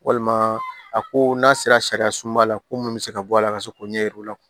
Walima a ko n'a sera sariya sunba la ko mun bɛ se ka bɔ a la ka se k'o ɲɛ yir'u la